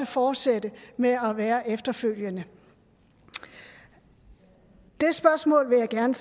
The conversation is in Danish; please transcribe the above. fortsætte med at være der efterfølgende det spørgsmål vil jeg gerne